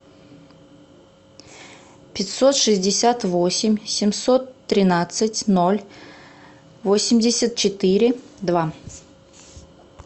пятьсот шестьдесят восемь семьсот тринадцать ноль восемьдесят четыре два